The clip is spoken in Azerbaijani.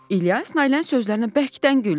İlyas Nailənin sözlərinə bərkdən güldü.